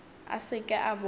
a se ke a bona